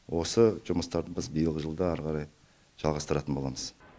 осы жұмыстарды біз биылғы жылда ары қарай жалғастыратын боламыз